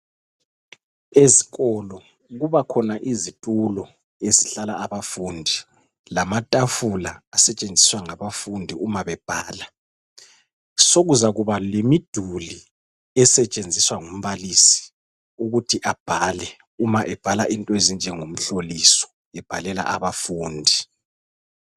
Ezikolo kuba khona izitulo ezihlala abafundi lamatafula asetshenziswa ngabafundi uma bebhala. Sokuzakuba lemiduli esetshenziswa ngumbalisi ukuthi abhale uma ebhala into ezinjengomhloliso ebhalela abafundi.